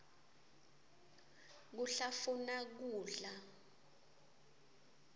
kuhlafuna kudla